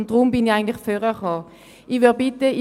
Deshalb bin ich ans Rednerpult getreten.